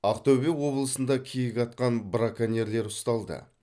ақтөбе облысында киік атқан браконьерлер ұсталды